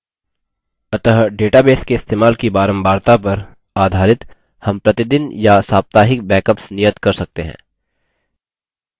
अतः database के इस्तेमाल की बारंबारता पर आधारित हम प्रतिदिन या साप्ताहिक backups नियत कर सकते हैं